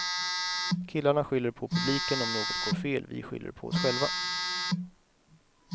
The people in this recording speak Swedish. Killarna skyller på publiken om något går fel, vi skyller på oss själva.